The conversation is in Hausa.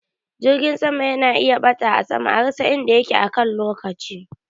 Jirgin sama yana iya ɓata a sama a rasa inda yake akan lokaci